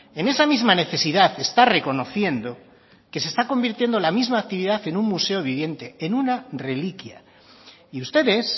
en esa misma necesidad está reconociendo que se está convirtiendo la misma actividad en un museo viviente en una reliquia y ustedes